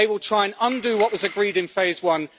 They will try to undo what was agreed in phase one.